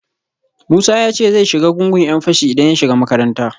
Musa ya ce zai shiga gungun ‘yan fashi idan ya shiga makaranta